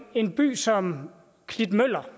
en by som klitmøller